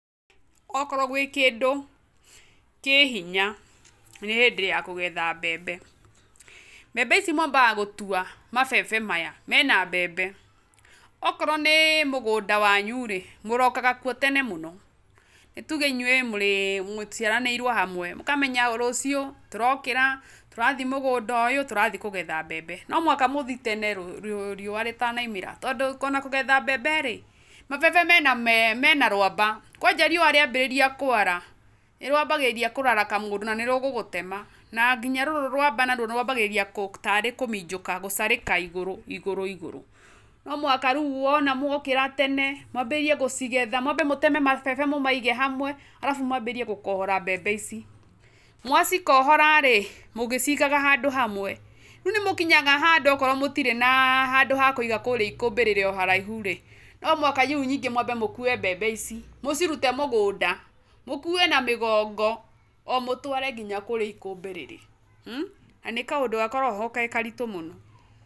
Okorwo gwĩ kĩndũ, kĩ hinya nĩ hĩndĩ ya kũgetha mbembe. Mbembe ici mwabaga gũtwa mabebe maya mena mbembe, okorwo nĩ mũgũnda wanyu rĩ, mũrokaga kuo tene mũno. Nĩ tuge inyuĩ mũciaranĩrwo hamwe, mũkamenya rũcio tũrokĩra , tũrathiĩ mũgũnda ũyũ, tũrathiĩ kũgetha mbembe. No mũhaka mũthiĩ tene riua rĩtana umĩra. Tondũ ona kũgethea mbembe rĩ, mabebe mena rwamba, kwanja riua riambie kwara, nĩ rwambagia kũraraka mũndũ na nĩ rũgũgũtema , na nginya rũrũ wamba nĩ rwambagia kũ tarĩ kũminjukia gũcarĩka ĩgũrũ ĩgũrũ. No mũhaka rĩu mwokĩra tene , mwambĩrĩrie gũcigetha , mũteme mabebe mũmaige hamwe, arabu mwanjie gũkohora mbembe ici, mwa cikohora rĩ mũgĩcigaga handũ hamwe. Rĩu nĩ mũkinyaga handũ akorwo mũtirĩ na handũ ha kũiga kũrĩa ikũmbĩ rĩrĩ o haraihu rĩ , no mũhaka rĩu ningĩ mwambe gũkua mbembe ici, mũcirute mũgũnda mũkue na mĩgongo, mũtware nginya kũrĩa ikũmbĩ rĩrĩ , na nĩ kaũndũ gakoragwo ho ge karitũ mũno.